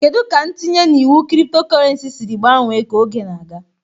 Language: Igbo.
Kedu ka ntinye na iwu cryptocurrency siri gbanwee ka oge na-aga?